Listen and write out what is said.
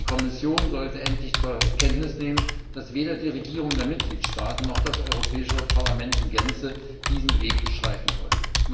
Die Kommission sollte endlich zur Kenntnis nehmen, dass weder die Regierungen der Mitgliedstaaten noch das Europäische Parlament in Gänze diesen Weg beschreiten wollen!